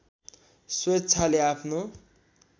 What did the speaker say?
स्वेच्छाले आफ्नो